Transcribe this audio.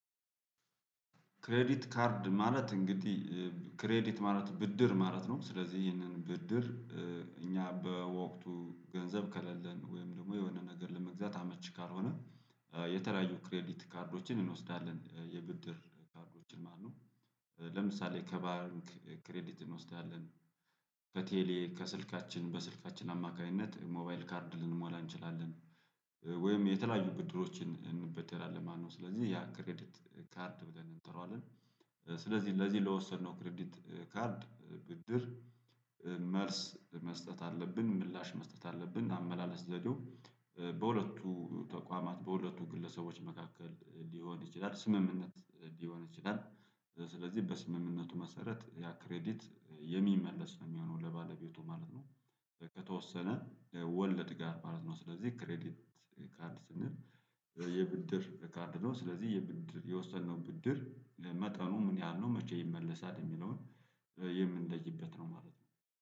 ክሬዲት ካርድ ማለት እንግዲህ ክሬዲት ማለት ብድር ማለት ነው። ስለዚህ ይህንን ብድር እኛ በወቅቱ ገንዘብ ከሌለን ወይም ደግሞ የሆነ ነገር ለመግዛት አመቺ ካልሆነ የተለያዩ ክሬዲት ካርዶችን እንወስዳለን የብድር ካርዶችን ማነው ለምሳሌ ከባንክ ክሬዲት እንወስዳለን። ከቴሌ ከስልካችን በስልካችን አማካኝነት ሞባይል ካርድ ልንሞላ እንችላለን ወይም የተለያዩ ብድሮችን እንበደራለን ማለት ነው። ስለዚህ ያ ክሬዲት ካርድ ብለን እንጠራዋለን። ስለዚህ ለዚህ ለወሰድነው ክሪዲት ካርድ ብድር መልስ መስጠት አለብን ምላሽ መስጠት አለብን አመላለስ ዘዴው በሁለቱ ተቋማት በሁለቱ ግለሰቦች መካከል ሊሆን ይችላል ስምምነት ሊሆን ይችላል። ስለዚህ በስምምነቱ መሰረት ያ ክሬዲት የሚመለስ ነው የሚሆነው ለባለቤቱ ማለት ነው። ከተወሰነ ወለድ ጋር ማለት ነው ስለዚህ ክሬዲት ካርድ ስንል የብድር ካርድ ነው። ስለዚህ የብድር የወሰድነው ብድር መጠኑ ምን ያህል ነው መቼ ይመለሳል? የሚለውን የምንለይበት ነው ማለት ነው።